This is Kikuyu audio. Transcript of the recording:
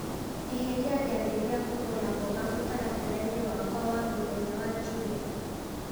eheria gĩathĩ gĩa kũgũra mboga mũtaratara-inĩ wakwa wa mũthenya wa njuma